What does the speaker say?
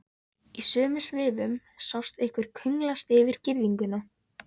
Í sömu svifum sást einhver klöngrast yfir girðinguna.